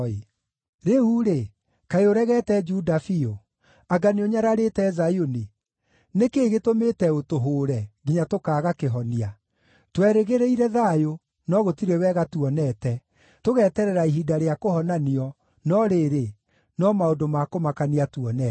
Rĩu-rĩ, kaĩ ũregete Juda biũ? Anga nĩũnyararĩte Zayuni? Nĩ kĩĩ gĩtũmĩte ũtũhũũre, nginya tũkaaga kĩhonia? Twerĩgĩrĩire thayũ, no gũtirĩ wega tuonete, tũgeterera ihinda rĩa kũhonanio, no rĩrĩ, no maũndũ ma kũmakania tuonete.